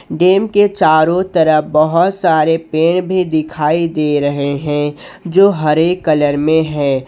Dam के चारों तरफ बहुत सारे पेड़ भी दिखाई दे रहे हैं जो हरे कलर में है।